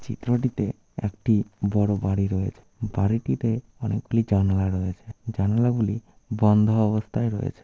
চিত্রটিতে একটি বড় বাড়ি রয়েছে বাড়িটিতে অনেকগুলি জানলা রয়েছে জানলাগুলি বন্ধ অবস্থায় রয়েছে।